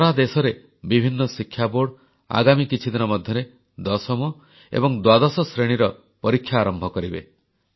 ସାରା ଦେଶରେ ବିଭିନ୍ନ ଶିକ୍ଷାବୋର୍ଡ଼ ଆଗାମୀ କିଛିଦିନ ମଧ୍ୟରେ ଦଶମ ଏବଂ ଦ୍ୱାଦଶ ଶ୍ରେଣୀର ପରୀକ୍ଷା ଆରମ୍ଭ କରିବେ